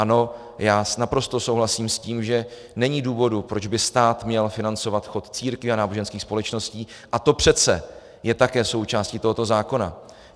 Ano, já naprosto souhlasím s tím, že není důvod, proč by stát měl financovat chod církví a náboženských společností, a to přece je také součástí tohoto zákona.